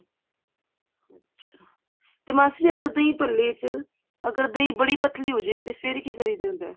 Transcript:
ਅੱਛਾ ਜੇ ਮਾਸੀ ਅਗਰ ਦਹੀਂ ਭੱਲੇ ਚ ਅਗਰ ਦਹੀਂ ਬੜੀ ਪਤਲੀ ਹੋਜੇ ਤੇ ਫ਼ੇਰ ਕੀ ਕਰੀਦਾ ਹੁੰਦਾ